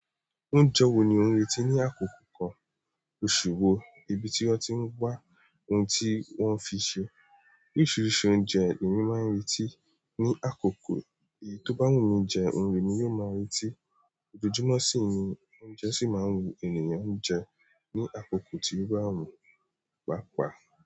Oúnjẹ wo ni ó ń retí ní àkókò kan, òṣùwọ̀n, ibi tí wọ́n ti ń gba ohun tí wọ́n fi ṣe. Oríṣiríṣi oúnjẹ èèyàn máa ń retí ní àkókò èyí tó bá wù ú mí jẹ, oun lèmi yóò máa retí. Ojojúmọ́ sì ni oúnjẹ sì máa ń wu ènìyàn jẹ ní àkókò tí o ba wu páapáa.